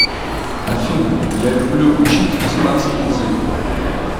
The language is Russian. афина я люблю учить испанский язык